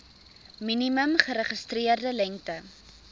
minimum geregistreerde lengte